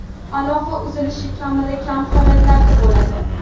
Aloqa uzilishi kamdan kam holatlarda bo‘ladi.